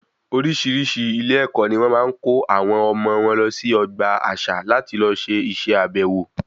Orísirísi ilé ẹkọ ní wọn máa ń kó àwọn ọmọ wọn lọ sí ọgbà àṣà láti lọ se ìse àbèwò